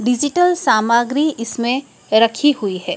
Digital सामग्री इसमें रखी हुई है।